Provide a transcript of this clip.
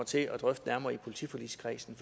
til at drøfte nærmere i politiforligskredsen